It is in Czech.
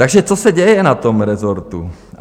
Takže co se děje na tom rezortu?